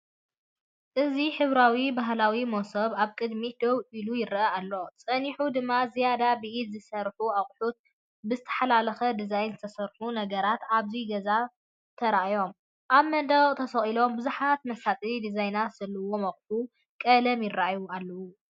እዚ ሕብራዊ ባህላዊ መሶብ ኣብ ቅድሚት ደው ኢሉይረአ ኣሎ። ጸኒሑ ድማ ዝያዳ ብኢድ ዝተሰርሑ ኣቑሑትን ብዝተሓላለኸ ዲዛይን ዝተሰርሑ ነገራትን ኣብቲ ገዛ ተራእዮም። ኣብ መንደቕ ተሰቒሎም ብዙሓት መሳጢ ዲዛይን ዘለዎም ኣቑሑት ቀለም ይራኣዩ ኣለዉ።